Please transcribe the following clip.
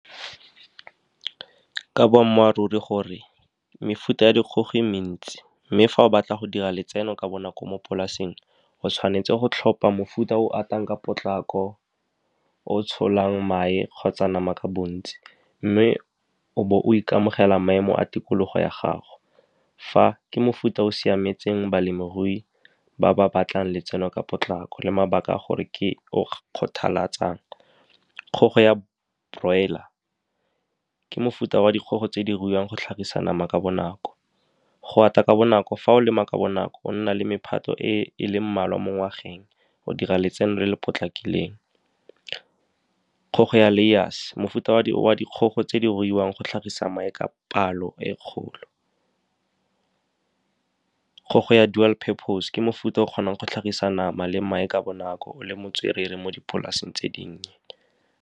Ka boammaaruri gore mefuta ya dikgogo e mentsi. Mme fa o batla go dira letseno ka bonako mo polasing, go tshwanetse go tlhopha mofuta o o atang ka potlako, o tsholang mae kgotsa nama ka bontsi, mme o bo o ikamogela maemo a tikologo ya gago. Fa ke mofuta o siametseng balemirui ba ba batlang letseno ka bonako le mabaka a gore ke . Kgogo ya broiler ke mofuta wa dikgogo tse di ruiwang go tlhagisa nama ka bonako. Go ata ka bonako, fa o lema ka bonako go nna le mephato e e leng mmalwa mo ngwageng. O dira letseno le le potlakileng. Kgogo ya layers, mofuta wa dikgogo tse di ruiwang go tlhagisa mae ka palo e kgolo. Kgogo ya dual purpose ke mofuta o kgonang go tlhagisa nama le mae ka bonako, le motswerere mo dipolaseng tse dinnye.